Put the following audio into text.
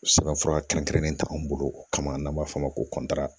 Sɛbɛn fura kɛrɛnkɛrɛnnen t'an bolo o kama n'an b'a f'o ma ko